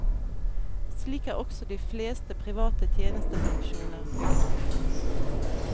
Slik er også de fleste private tjenestepensjoner bygget opp.